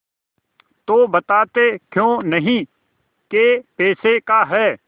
तो बताते क्यों नहीं कै पैसे का है